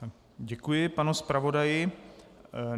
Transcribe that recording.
Děkuji panu zpravodaji.